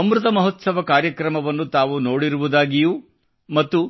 ಅಮೃತ ಮಹೋತ್ಸವ ಕಾರ್ಯಕ್ರಮವನ್ನು ತಾವು ನೋಡಿರುವುದಾಗಿಯೂ ಮತ್ತು